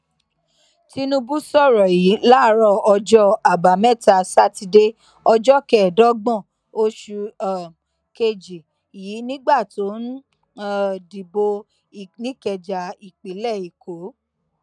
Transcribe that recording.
tinubu sọrọ yìí láàárọ ọjọ àbámẹta sátidé ọjọ kẹẹẹdọgbọn oṣù um kejì yìí nígbà tó ń um dìbò nìkẹja ìpínlẹ èkó